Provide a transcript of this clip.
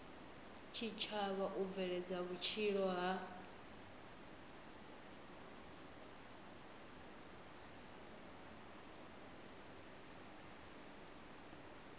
tshitshavha u bveledza vhutshilo ha